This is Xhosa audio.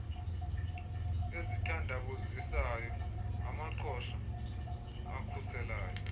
ezithandabuzisayo amaqhosha akhuselayo